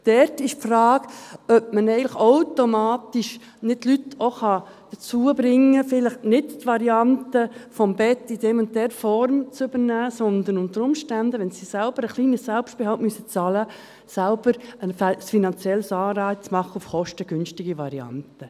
Dort ist die Frage, ob man eigentlich die Leute automatisch dazu bringen kann, vielleicht nicht die Variante des Bettes in dieser und dieser Form zu übernehmen, sondern ob man unter Umständen einen finanziellen Anreiz für kostengünstige Varianten machen kann, indem sie selber einen kleinen Selbstbehalt bezahlen müssen.